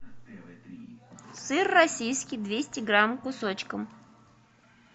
сыр российский двести грамм кусочком